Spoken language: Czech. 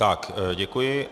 Tak, děkuji.